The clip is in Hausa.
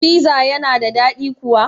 Piza yana da dadi kuwa?